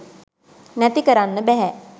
නැති කරන්න බෑ